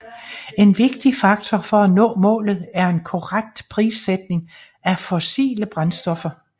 En vigtig faktor for at nå målet er en korrekt prissætning af fossile brændstoffer